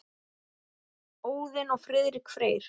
Óðinn og Friðrik Freyr.